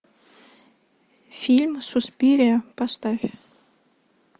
фильм суспирия поставь